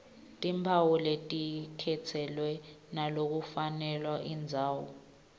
timphawu telikhetselo nalokufundvwako